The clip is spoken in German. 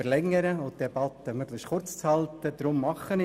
Deshalb halte ich mich auch daran.